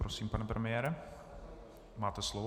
Prosím, pane premiére, máte slovo.